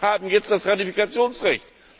Wir haben jetzt das Ratifikationsrecht!